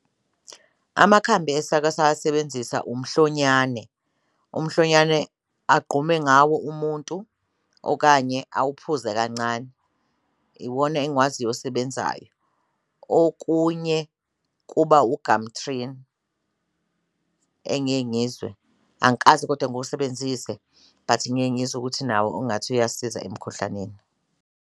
Amakhambi esake sawasebenzisa umhlonyane, umhlonyane agqume ngawo umuntu okanye awuphuze kancane iwona engikwaziyo osebenzayo, okunye kuba ugamthrini engiye ngizwe angikaze kodwa ngiwusebenzise but ngiye ngizwe ukuthi nawo ungathi uyasiza emkhuhlaneni.